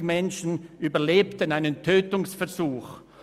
52 Menschen überlebten einen Tötungsversuch.